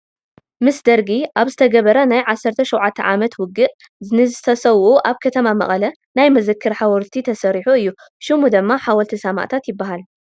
ምስ ደርጊ ኣብ ዝተገብረ ናይ ዓሰርተ ሸውዓተ ዓመታት ውግእ ንዝተሰውኡ ኣብ ከተማ መቐለ ናይ መዘክር ሓወልቲ ተሰሪሑ እዩ፡፡ ሽሙ ድማ ሓወልቲ ሰማዕታት ይበሃል፡፡